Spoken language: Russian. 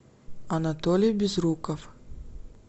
анатолий безруков